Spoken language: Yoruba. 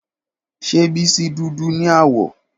Ṣe Bisi dudu ni awọ?